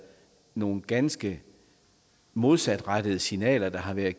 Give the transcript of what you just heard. nogle ganske modsatrettede signaler der har været